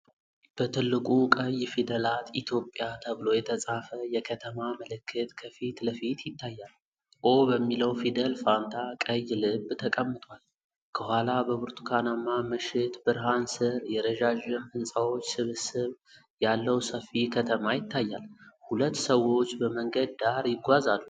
በትልቁ ቀይ ፊደላት "ኢትዮጵያ" ተብሎ የተጻፈ የከተማ ምልክት ከፊት ለፊት ይታያል። “ኦ” በሚለው ፊደል ፋንታ ቀይ ልብ ተቀምጧል። ከኋላ በብርቱካናማ ምሽት ብርሃን ስር የረዣዥም ሕንፃዎች ስብስብ ያለው ሰፊ ከተማ ይታያል። ሁለት ሰዎች በመንገድ ዳር ይጓዛሉ።